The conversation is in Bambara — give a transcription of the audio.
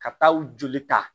Ka taa u joli ta